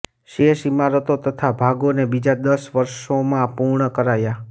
શેષ ઇમારતો તથા ભાગોને બીજાં દસ વર્ષોમાં પૂર્ણ કરાયાં